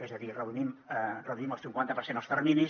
és a dir reduïm al cinquanta per cent els terminis